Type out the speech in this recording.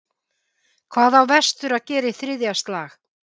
Hvað á vestur að gera í þriðja slag?